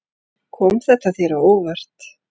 Kom þetta þér á óvart?